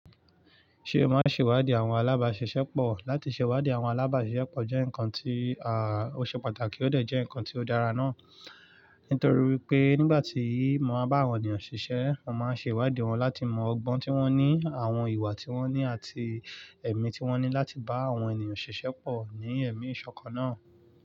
Ṣe o máa ń ṣèwádìí àwọn alábàáṣiṣẹ́pọ̀? Látì ṣe ìwádìí àwọn alábàáṣiṣẹ́pọ̀ jẹ́ nǹkan tí ó ṣe pàtàkì ó dẹ̀ jẹ́ nǹkan tí ó dára náà. Nítorí pé nígbà tí mo máa ń bá àwọn ènìyàn ṣiṣẹ́, mo máa ń ṣe ìwádìí wọn láti mọ ọgbọ́n tí wọ́n ní, àwọn ìwà tí wọ́n ní àti ẹ̀mí tí wọ́n ní láti bá àwọn ènìyàn ṣiṣẹ́ pọ̀ ní ẹ̀mí ìṣọ̀kan náà.